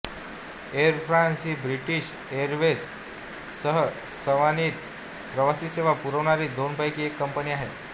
air France ही British airways सह स्वनातीत प्रवासी सेवा पुरविणारी दोनपैकी एक कंपनी आहे